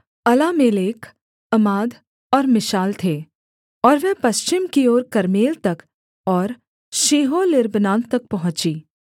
Alammelech Amad और Mishal थे और वह पश्चिम की ओर कर्मेल तक और शीहोर्लिब्नात तक पहुँची